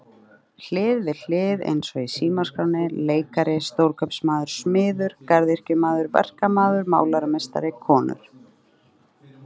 Hlið við hlið eins og í símaskránni leikari stórkaupmaður smiður garðyrkjumaður verkamaður málarameistari konur.